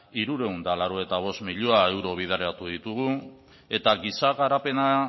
hirurehun eta laurogeita bost milioi euro bideratu ditugu eta giza garapena